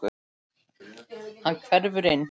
Hann hverfur inn.